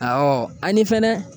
ani fɛnɛ.